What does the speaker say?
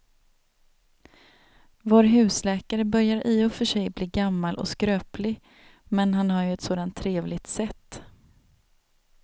Vår husläkare börjar i och för sig bli gammal och skröplig, men han har ju ett sådant trevligt sätt!